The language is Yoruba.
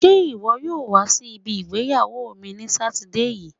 Ṣé iwọ yóò wa si ibi ìgbéyàwó mi ní sátidé yii?